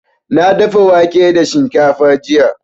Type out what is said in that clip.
Na dafa wake da shinkafa jiya.